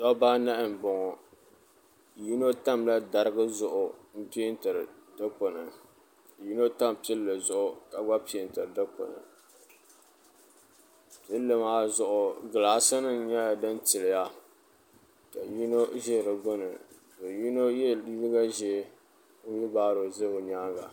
dɔbba anahi m-bɔŋɔ yino tamla dariga zuɣu m-peentiri dikpuni yino tam pilli zuɣu ka gba peentiri dikpuni pilli maa zuɣu gilaasinima nyɛla din tiliya ka yino ʒe di gbuni ka yino ye liiga ʒee fiibaaro ʒe bɛ nyaaŋga